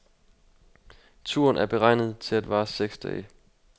Turen er beregnet til at vare seks dage.